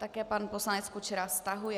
Také pan poslanec Kučera stahuje.